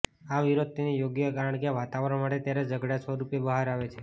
આ વિરોધ તેને યોગ્ય કારણ કે વાતાવરણ મળે ત્યારે ઝઘડા સ્વરૂપે બહાર આવે છે